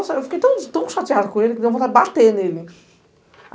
Nossa, eu fiquei tão tão chateada com ele, que deu vontade de bater nele.